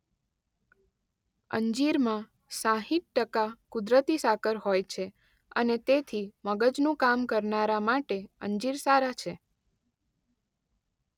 અંજીરમાં સાઇઠ ટકા કુદરતી સાકર હોય છે અને તેથી મગજનું કામ કરનારા માટે અંજીર સારાં છે.